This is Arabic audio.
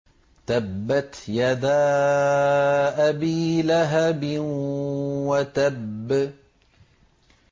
تَبَّتْ يَدَا أَبِي لَهَبٍ وَتَبَّ